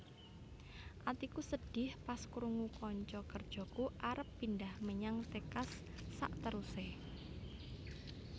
Atiku sedih pas krungu konco kerjoku arep pindah menyang Texas sakteruse